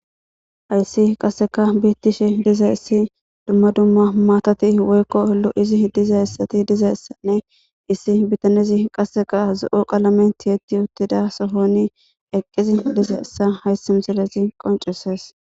Haysi qassekka bettishe dizayissi duma duma matati woykko lo'she dizayti dizayissanne issi bitanney qaseka zo'o qalamen tiyetidda uttida sohon eqqidi dizayisa hayisi missiley qonccisses.